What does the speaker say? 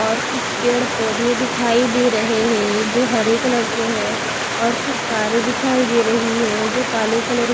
और कुछ पेड़ पोधे दिखाई दे रहे है जो हरे कलर के है और कुछ कारे दिखाई दे रही है जो काले कलर --